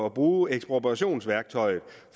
at bruge ekspropriationsværktøjet